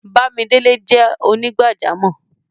Bàmídélẹ̀ jẹ́ onígbàjàmọ́.